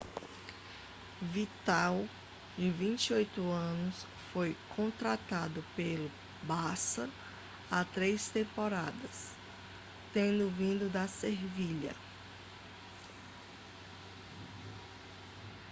vidal de 28 anos foi contratado pelo barça há três temporadas tendo vindo do sevilha